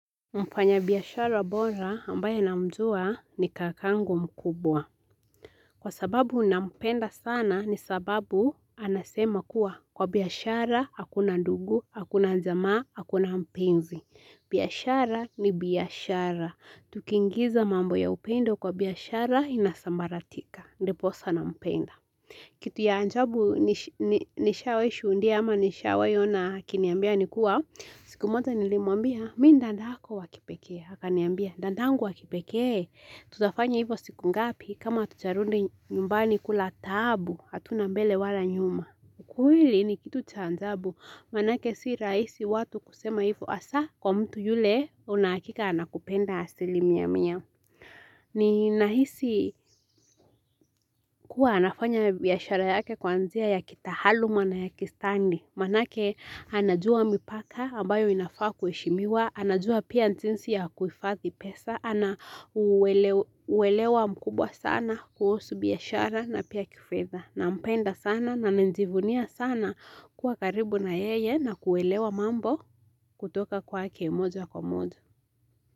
Mfanya biashara bora ambaye na mjua ni kakangu mkubwa. Kwa sababu nampenda sana ni sababu anasema kuwa. Kwa biashara, hakuna ndugu, hakuna jama, hakuna mpenzi. Biyashara ni biyashara. Tukingiza mambo ya upendo kwa biyashara inasambaratika. Ndipo sana mpenda. Kitu ya ajaabu nishawahi shuhudia ama nishawahi ona akiniambia ni kuwa. Siku moja nilimuambia, mi ni dadako wa kipekee, akaniambia, dandangu wakipeke, tutafanya hivyo siku ngapi kama hatujarudi nyumbani kula taabu, hatuna mbele wala nyuma. Kuhili ni kitu cha ajabu, manake si raisi watu kusema hivyo asa kwa mtu yule unakika anakupenda asili mia mia. Ni nahisi kuwa anafanya yashara yake kwanzia ya kitahaluma na ya kistandi. Manake anajua mipaka ambayo inafaa kueshimiwa, anajua pia jinsi ya kuhfadhi pesa, ana uwelewa mkubwa sana kuhusu biashara na pia kifedha. Nampenda sana na njivunia sana kwa karibu na yeye na kuelewa mambo kutoka kwake moja kwa moja.